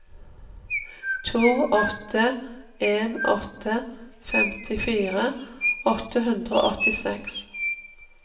to åtte en åtte femtifire åtte hundre og åttiseks